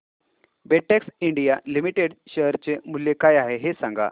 Betex India limited share चे मूल्य काय आहे हे सांगा